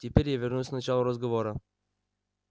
теперь я вернусь к началу разговора